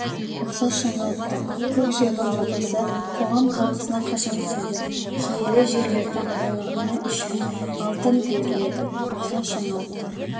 ұқсас жаңалықтар көк-жайлау жобасы қоғам талқысына қашан түседі киелі жерлерді аралағаны үшін алтын беріледі ұқсас жаңалықтар